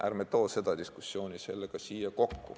Ärme toome seda diskussiooni siia kokku!